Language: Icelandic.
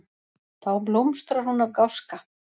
Þá blómstrar hún af gáska.